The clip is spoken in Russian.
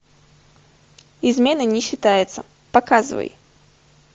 изменой не считается показывай